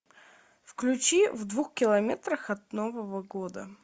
включи в двух километрах от нового года